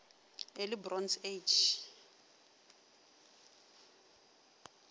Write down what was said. early bronze age